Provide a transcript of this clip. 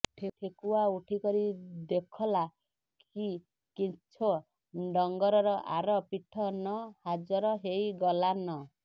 ଠେକୁଆ ଉଠିକରି ଦେଖଲା କି କେଁଛୋ ଡଂଗରର ଆର ପିଠ ନ ହାଜର ହେଇଗଲାନ